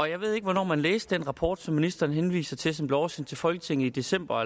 jeg ved ikke hvornår man læste den rapport som ministeren henviste til og som blev oversendt til folketinget i december